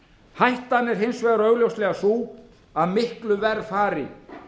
hættan er hins vegar augljóslega sú að miklu verr fari